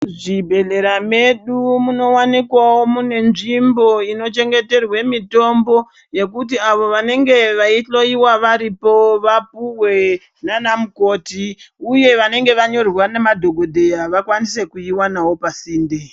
Muzvibhedhlera medu munowanikwawo mune nzvimbo inochengeterwa mitombo yekuti avo vanenge veihloiwa varipo vapuwe nana mukoti uye vanenge vanyorerwa nemadhokodheya vakwanise kuiwanawo pasinde.